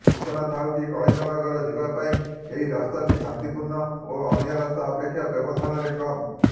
ସୂଚନାଥାଉକି କଳିଙ୍ଗ ନଗର ଯିବା ପାଇଁ ଏହି ରାସ୍ତାଟି ଶାନ୍ତିପୂର୍ଣ୍ଣ ଓ ଅନ୍ୟ ରାସ୍ତା ଅପେକ୍ଷା ବ୍ୟବଧାନରେ କମ୍